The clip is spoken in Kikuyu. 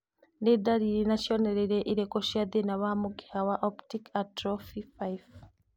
Nĩ ndariri na cionereria irĩkũ cia thĩna wa mũkiha wa Optic atrophy 5?